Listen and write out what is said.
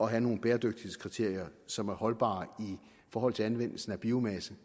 have nogle bæredygtighedskriterier som er holdbare i forhold til anvendelsen af biomasse